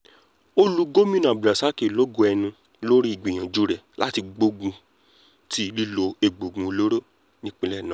ó lu gomina abdulrasaq lógo ẹnu lórí ìgbìyànjú rẹ̀ láti gbógun ti lílo egbòogi olóró nípìnlẹ̀ náà